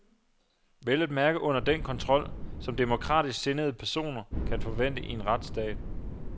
Vel at mærke under den kontrol, som demokratisk sindede personer kan forvente i en retsstat.